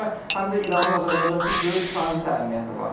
Bundan başqa həm də İranın Azərbaycan üçün böyük tranzit əhəmiyyəti var.